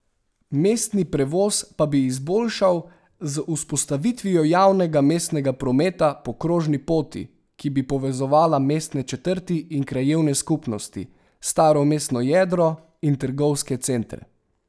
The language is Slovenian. Mestni prevoz pa bi izboljšal z vzpostavitvijo javnega mestnega prometa po krožni poti, ki bi povezala mestne četrti in krajevne skupnosti, staro mestno jedro in trgovske centre.